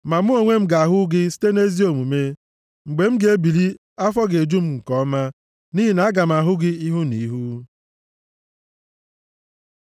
Ma mụ onwe m ga-ahụ ihu gị site nʼezi omume; mgbe m ga-ebili, afọ ga-eju m nke ọma, nʼihi na aga m ahụ gị ihu na ihu.